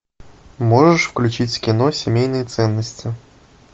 можешь включить кино семейные ценности